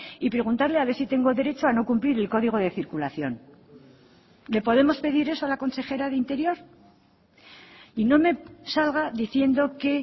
y preguntarle a ver si tengo derecho a no cumplir el código de circulación le podemos pedir eso a la consejera de interior y no me salga diciendo que